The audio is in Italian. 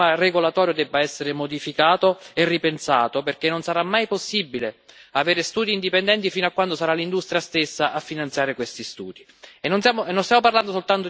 Noi crediamo che l'intero sistema regolatorio debba essere modificato e ripensato perché non sarà mai possibile avere studi indipendenti fino a quando sarà l'industria stessa a finanziare questi studi.